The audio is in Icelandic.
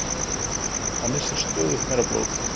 Það missir stöðugt meira blóð